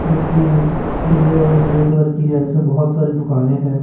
जोकि पीले और ग्रे कलर की है उसे बहोत सारी दुकाने हैं।